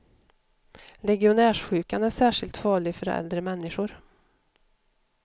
Legionärssjukan är särskilt farlig för äldre människor.